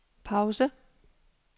pause